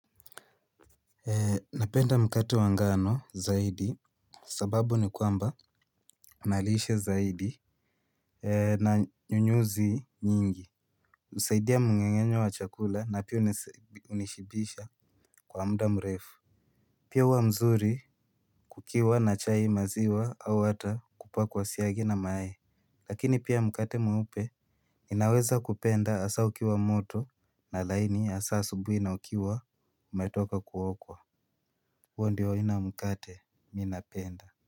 Napenda mkate wa ngano zaidi sababu ni kwamba unalishe zaidi na nyunyuzi nyingi. Husaidia mngengenyo wa chakula na pia hunishibisha kwa mda mrefu. Pia uwamzuri kukiwa na chai maziwa au ata kupakwa siagi na mayai. Lakini pia mkate mweupe inaweza kupenda hasa ukiwa moto na laini asa asubuhi na ukiwa umetoka kuokwa huondio aina mkate minapenda.